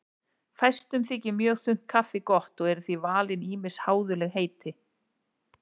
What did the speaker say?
Fæstum þykir mjög þunnt kaffi gott og eru því valin ýmis háðuleg heiti.